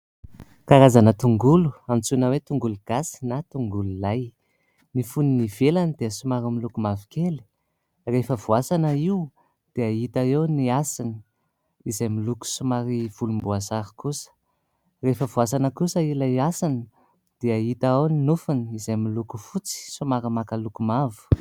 Karazana tongolo antsoina hoe tongolo gasy na tongolo lay. Ny foniny ivelany dia somary miloko mavokely. Rehefa voasana io dia hita eo ny hasiny, izay miloko somary volomboasary kosa ; rehefa voasana kosa ilay hasiny dia hita ao ny nofony, izay miloko fotsy somary maka loko mavo.